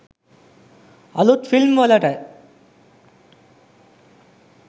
අලුත් ෆිල්ම් වලට.